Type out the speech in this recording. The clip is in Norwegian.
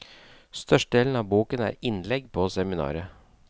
Størstedelen av boken er innlegg på seminaret.